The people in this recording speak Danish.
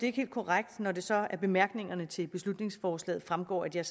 er helt korrekt når det så af bemærkningerne til beslutningsforslaget fremgår at jeg